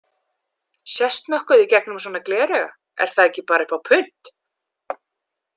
Sést nokkuð í gegnum svona glerauga, er það ekki bara upp á punt?